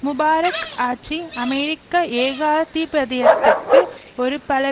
Mubarak ஆட்சி அமெரிக்க ஏகாதிபத்தியத்திற்கு ஒரு பல